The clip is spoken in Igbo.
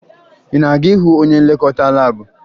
Ị na-aga ịhụ onye nlekọta laabụ?